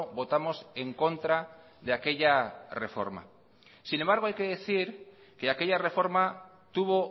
votamos en contra de aquella reforma sin embargo hay que decir que aquella reforma tuvo